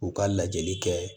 U ka lajɛli kɛ